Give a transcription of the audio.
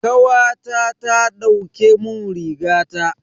Kawata ta dauke mun rigata.